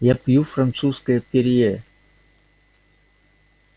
я пью французскую перье